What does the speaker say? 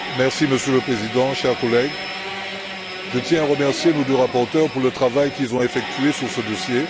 Monsieur le Président, chers collègues, je tiens à remercier nos deux rapporteurs pour le travail qu'ils ont effectué sur ce dossier.